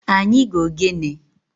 Anyi ga-ogene.